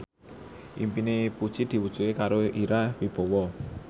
impine Puji diwujudke karo Ira Wibowo